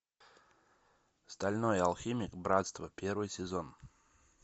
стальной алхимик братство первый сезон